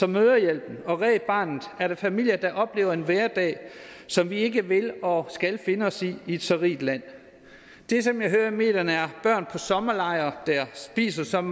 mødrehjælpen og red barnet er der familier der oplever en hverdag som vi ikke vil og skal finde os i i et så rigt land det som jeg hører om i medierne er børn på sommerlejr der spiser som